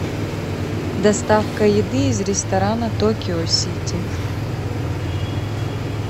доставка еды из ресторана токио сити